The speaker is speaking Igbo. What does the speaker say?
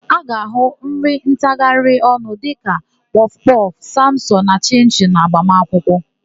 A ga-áhụ̀ nri ntagharịọnụ dịka kpọfụkpọfụ, samosa na chịnchịnụ n'agbamakwụkwọ.